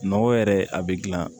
Nɔgɔ yɛrɛ a be gilan